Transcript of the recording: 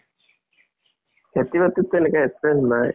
খেতি বাতিত টো এনেকা experience নাই।